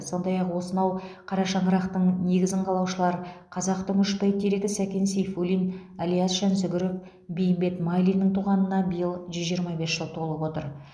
сондай ақ осынау қара шаңырақтың негізін қалаушылар қазақтың үш бәйтерегі сәкен сейфуллин ілияс жансүгіров бейімбет майлиннің туғанына биыл жүз жиырма бес жыл толып отыр